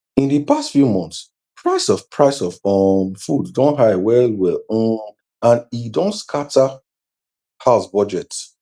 in d past few months price of price of um food don high well well um and e don scata house budget